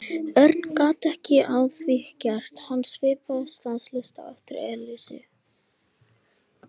Örn gat ekkert að því gert en hann svipaðist stanslaust um eftir Elísu.